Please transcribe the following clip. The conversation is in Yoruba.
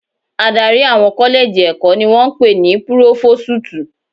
Adarí àwọn kọ́lẹ́jì ẹ̀kọ́ ni wọ́n ń pè ní púrófósútù.